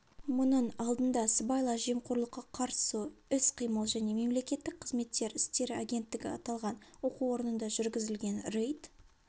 мұның алдында сыбайлас жемқорлыққа қарсы іс-қимыл және мемлекеттік қызмет істері агенттігі аталған оқу орнында жүргізілген рейд